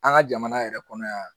An ka jamana yɛrɛ kɔnɔ yan